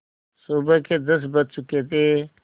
सुबह के दस बज चुके थे